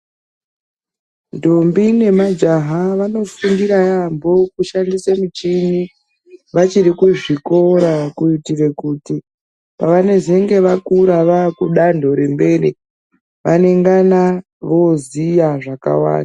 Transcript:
Ndombi nemajaha ,vanofundira yaampho kushandisa michini, vachiri kuzvikora, kuitire kuti pevanezenge vakura vaakudanho remberi, vanengana voziya zvakawanda.